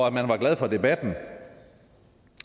at man var glad for debatten